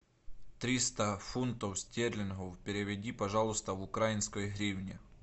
триста фунтов стерлингов переведи пожалуйста в украинской гривне